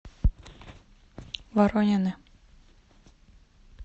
воронины